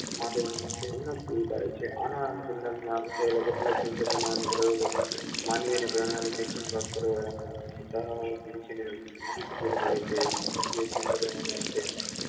માટે માટે પૂરી પાડે છે આના અનુસંધાનમાં કેટલાક સંશોધનો અને પ્રયોગો માનવીને શિક્ષણ પ્રાપ્ત કરવાના માહિતી પૂરી પાડે છે અને સંશોધનના અંતે